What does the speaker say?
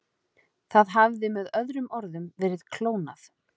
Það hafði með öðrum orðum verið klónað.